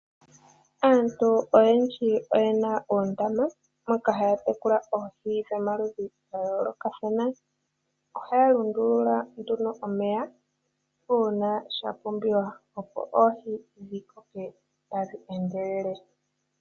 Aantu oyendji oye na oondama moka haya tekula oohi dhomaludhi ga yoolokathana. Ohaya lundulula nduno omeya uuna sha pumbiwa, opo oohi dhi koke tadhi endelele.